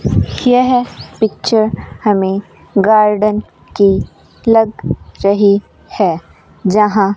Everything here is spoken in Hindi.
यह पिक्चर हमें गार्डन की लग रही है जहां --